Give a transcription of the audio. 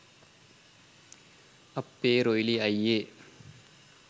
අප්පේ රොයිලි අයියේ